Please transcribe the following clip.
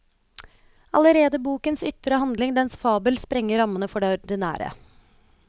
Allerede bokens ytre handling, dens fabel, sprenger rammene for det ordinære.